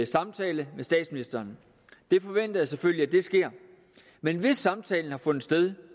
samtale med statsministeren det forventer jeg selvfølgelig sker men hvis samtalen har fundet sted